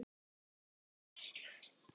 Ég var strax orðinn sjóveikur!